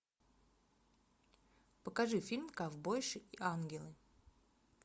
покажи фильм ковбойши и ангелы